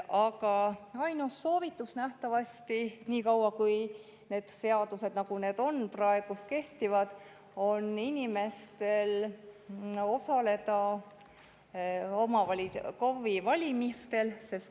Aga ainus soovitus inimestele nähtavasti, niikaua kui need seadused, mis meil on, kehtivad, on osaleda KOV‑i valimistel.